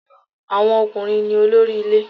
Àwọn ọkùnrin ní olórí ilé